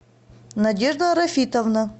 надежда рафитовна